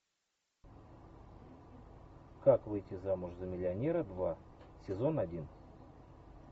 как выйти замуж за миллионера два сезон один